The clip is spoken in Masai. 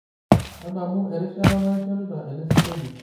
tadamu erishata naishorita elesingolio